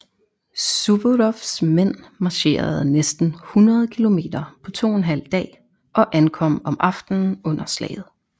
Suvorovs mænd marcherede næsten 100 km på 2½ dag og ankom om aftenen under slaget